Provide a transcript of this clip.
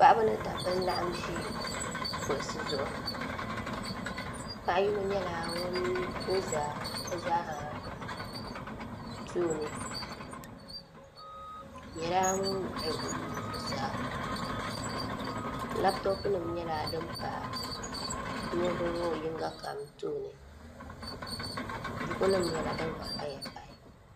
Paɣaba ni dabnbba n laɣam ʒi kuɣusi zuɣu paɣa yino nyɛla ŋun ʒɛ bi zaaha tooni o nyɛla ŋun wuɣu o nuu zuɣusaa labtop nim nyɛla din pa niraba ŋo yinga kam tooni buku nim nyɛla din gba paya pahi